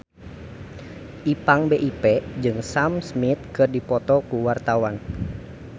Ipank BIP jeung Sam Smith keur dipoto ku wartawan